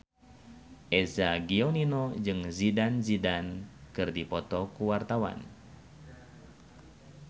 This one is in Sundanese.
Eza Gionino jeung Zidane Zidane keur dipoto ku wartawan